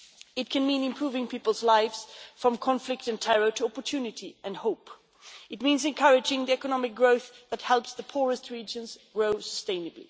It can mean improving people's lives from conflict and terror to opportunity and hope. It means encouraging the economic growth that helps the poorest regions grow sustainably.